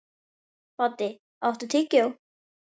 Baddi, áttu tyggjó?